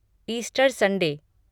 Easter Sunday